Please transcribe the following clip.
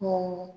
Ɛɛ